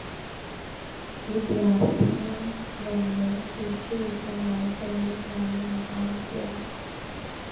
ਵਿਦਿਆਰਥੀਆਂ ਵੱਲੋਂ ਸੂਰਜੀ ਊਰਜਾ ਨਾਲ ਚੱਲਣ ਵਾਲੇ ਵਾਹਨ ਤਿਆਰ